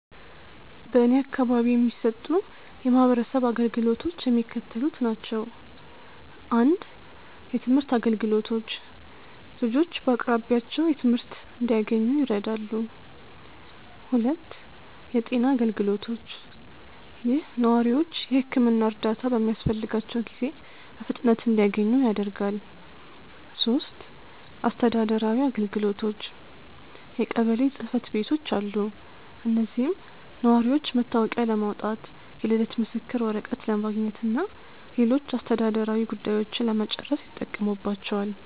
በእኔ አካባቢ የሚሰጡ የማህበረሰብ አገልግሎቶች የሚከተሉት ናቸው:- 1. የትምህርት አገልግሎቶች፦ ልጆች በአቅራቢያቸው ትምህርት እንዲያንኙ ይረዳሉ። 2. የጤና አገልግሎቶች፦ ይህ ነዋሪዎች የሕክምና እርዳታ በሚያስፈልጋቸው ጊዜ በፍጥነት እንዲያገኙ ያደርጋል። 3. አስተዳደራዊ አገልግሎቶች፦ የቀበሌ ጽሕፈት ቤቶች አሉ። እዚህም ነዋሪዎች መታወቂያ ለማውጣት፣ የልደት ምስክር ወረቀት ለማግኘትና ሌሎች አስተዳደራዊ ጉዳዮችን ለመጨረስ ይጠቀሙባቸዋል።